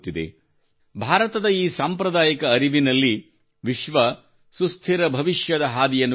ಭಾರತದ ಈ ಸಾಂಪ್ರದಾಯಿಕ ಅರಿವಿನಲ್ಲಿ ವಿಶ್ವ ಸುಸ್ಥಿರ ಭವಿಷ್ಯದ ಹಾದಿಯನ್ನು ಕಾಣುತ್ತಿದೆ